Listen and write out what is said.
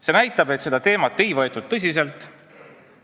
See näitab, et seda teemat ei võetud tõsiselt.